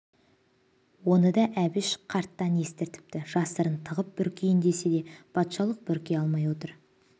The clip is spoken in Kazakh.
оны да әбіш қарттан есітіпті жасырып тығып бүркейін десе де патшалық бүркей алмай отыр